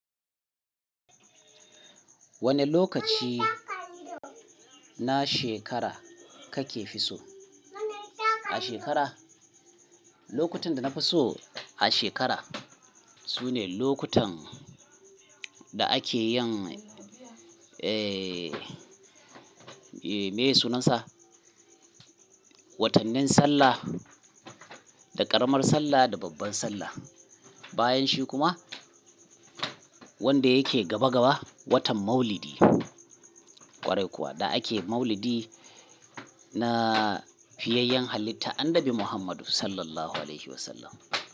Wane lokaci na shekara kakefi so? A shekara? Lokutan da na fi so a shekara sune lokutan da ake yin, eh, meye sunansa? Watannin Sallah, da ƙaramar Sallah, da babbar Sallah. Bayanshi kuma wanda yake gaba gaba, watan Maulidi. Kwarai kuwa da ake Maulidi na fiyayyan halitta, Annabi Muhammadu Sallallahu Alaihi Wasallam.